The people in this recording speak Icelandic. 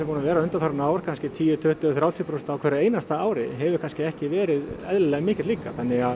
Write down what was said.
búinn að vera undanfarin ár tíu tuttugu þrjátíu prósent á hverju einasta ári hefur kannski ekki verið eðlilegur þannig að